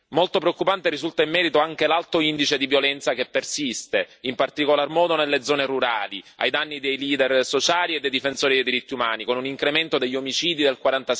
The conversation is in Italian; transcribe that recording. Molto preoccupante risulta in merito anche l'alto indice di violenza che persiste, in particolar modo nelle zone rurali, ai danni dei leader sociali e dei difensori dei diritti umani, con un incremento degli omicidi del